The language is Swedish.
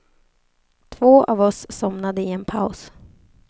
Två av oss somnade i en paus.